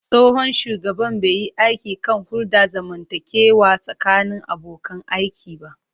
Tsohon shugaban bai yi aiki kan hulɗar zamantakewa tsakanin abokan aiki ba.